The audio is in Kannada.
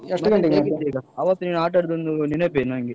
ಅವತ್ತು ನೀವ್ ಆಟ ಅಡಿದೊಂದು ನೆನಪೇ ನಂಗೆ.